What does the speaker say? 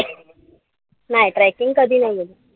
नाई trekking कधी नाई.